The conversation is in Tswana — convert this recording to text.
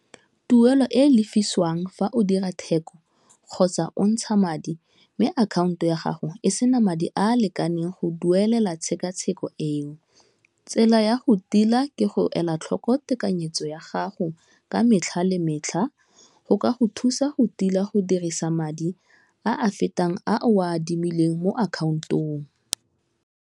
Tuelo e lefiswang fa o dira theko, kgotsa o ntsha madi mme akhaonto ya gago e sena madi a a lekaneng go duelela tshekatsheko eo, tsela ya go tila ke go ela tlhoko tekanyetso ya gago ka metlha le metlha go ka go thusa go tila go dirisa madi a a fetang a o a adimileng mo account-ong.